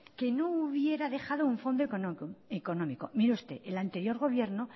que no hubiera dejado un fondo económico mire usted el anterior gobierno